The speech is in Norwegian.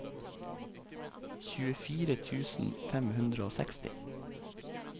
tjuefire tusen fem hundre og seksti